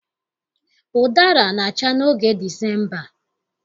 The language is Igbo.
Ụdara na-acha n'oge Disemba